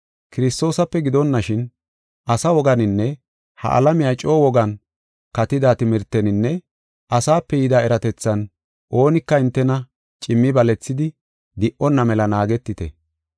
Kiristoosape gidonashin, asa woganinne ha alamiya coo wogan katida timirteninne asape yida eratethan oonika hintena cimi balethidi di77onna mela naagetite.